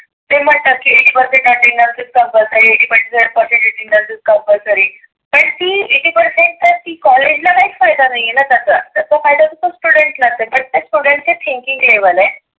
ते म्हणतात की eighty attendance is compulsory eighty percent is compulsory ला काहीच फायदा नाहीए ना त्याचा. तो फायदा असतो student ला. ते student चं thinking level आहे.